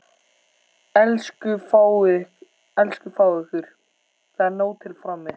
Elsku fáið ykkur, það er nóg til frammi.